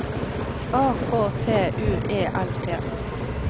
A K T U E L T